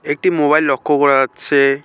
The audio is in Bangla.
একটি মোবাইল লক্ষ করা যাচ্ছে।